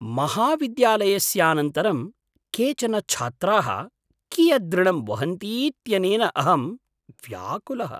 महाविद्यालयस्यानन्तरं केचन छात्राः कियदृणं वहन्तीत्यनेन अहं व्याकुलः।